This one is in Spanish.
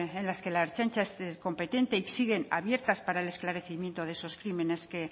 en las que la ertzaintza es competente y siguen abiertas para el esclarecimiento de esos crímenes que